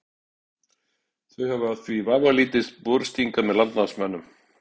Þau hafa því vafalítið borist hingað með landnámsmönnum.